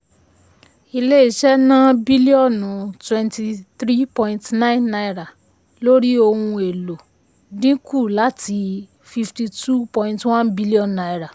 ilé iṣẹ́ ná bílíọ̀nù 23.9 náírà lórí ohun èlò dín kù láti n52.1bn.